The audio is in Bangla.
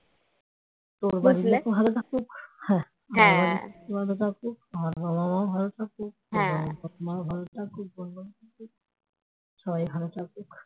তোর বাড়ির লোক ভালো থাকুক আমার বাড়ির লোক ও ভালো থাকুক আমার বাবা মা ভালো থাকুক সবাই ভালো থাকুক